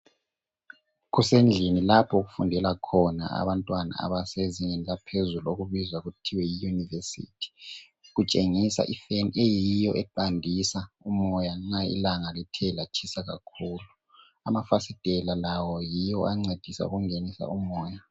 Kusendlini lapho okufundela khona abantwana abasezingeni eliphezulu okubizwa kuthiwa yiYunivesithi, kutshengisa ifeni eyiyo eqandisa umoya nxa ilanga lithe likelatshisa kakhulu. Amafasitela lawo yiwo ancedisa ukungenisa umoya.